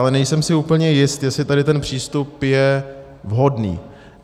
Ale nejsem si úplně jist, jestli tady ten přístup je vhodný.